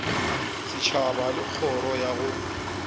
setšhaba le kgoro ya go